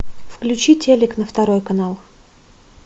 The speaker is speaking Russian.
включи телик на второй канал